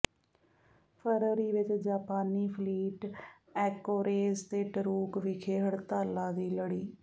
ਫ਼ਰਵਰੀ ਵਿਚ ਜਾਪਾਨੀ fleet Anchorage ਤੇ ਟਰੂਕ ਵਿਖੇ ਹੜਤਾਲਾਂ ਦੀ ਲੜੀ